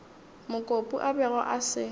mokopu a bego a se